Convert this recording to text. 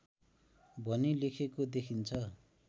भनी लेखेको देखिन्छ